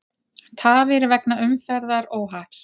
Tafir vegna umferðaróhapps